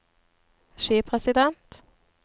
skipresident